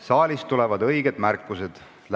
Saalist tulevad õiged märkused.